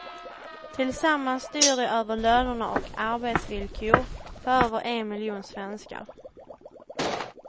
Tillsammans styr de över lönerna och arbetsvillkor för över en miljon svenskar.